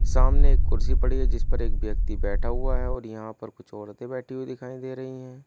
सामने एक कुर्सी पड़ी है जिस पर एक व्यक्ति बैठा हुआ है और यहां पर कुछ औरतें बैठी हुई दिखाई दे रही है।